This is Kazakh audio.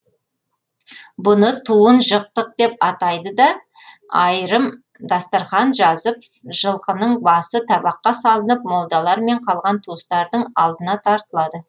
бұны туын жықтық деп атайды да айрым дастарқан жазып жылқының басы табаққа салынып молдалармен қалған туыстардың алдына тартылады